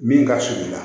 Min ka surun i la